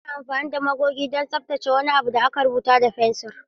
Ana amfani da magoge don tsaftace wani abu da aka rubuta da fensir.